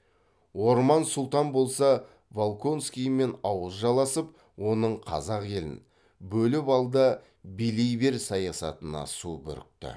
орман сұлтан болса волконскиймен ауыз жаласып оның қазақ елін бөліп алда билей бер саясатына су бүрікті